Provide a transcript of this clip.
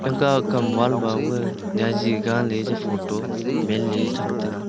taka kam wall mame jari danla le photo man le cham taga.